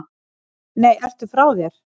Nei, ertu frá þér?